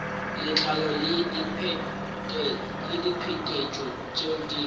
letlalo le diphetetšo tšeo di